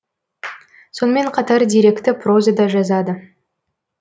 сонымен қатар деректі проза да жазады